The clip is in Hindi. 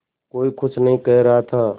कोई कुछ नहीं कह रहा था